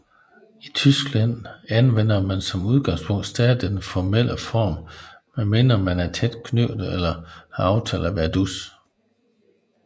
Tyskland anvender man som udgangspunkt stadig den formelle form medmindre man er tæt knyttet eller har aftalt at være dus